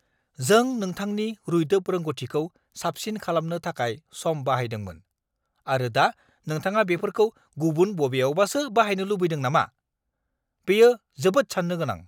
जों नोंथांनि रुइदोब रोंग'थिखौ साबसिन खालामनो थाखाय सम बाहायदोंमोन, आरो दा नोंथाङा बेफोरखौ गुबुन बबेयावबासो बाहायनो लुबैदों नामा? बेयो जोबोद सान्नो गोनां!